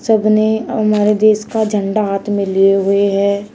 सबने हमारे देश का झंडा हाथ में लिए हुए हैं।